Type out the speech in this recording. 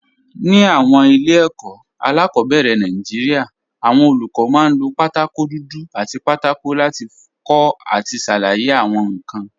Ní àwọn ilé ẹ̀kọ́ alákọ̀ọ́bẹ̀rẹ̀ Nàìjíríà, àwọn olùkọ́ máa ń lo pátákó dúdú àti pátákó láti kọ àti ṣàlàyé àwọn nǹkan.